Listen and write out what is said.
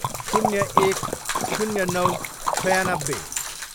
शून्य एक, शून्य नौ, छयानब्बे